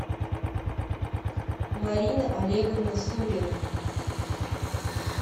марина олеговна сурина